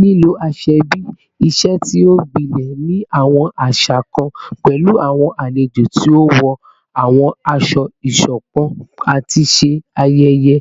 Lilo asoebi, iṣe ti o gbilẹ ni awọn aṣa kan, pẹlu awọn alejo ti o wọ awọn aṣọ iṣọpọ lati ṣe ayẹyẹ